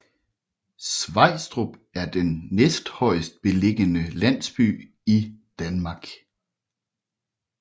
Svejstrup er den næsthøjestbelligende landsby i Danmark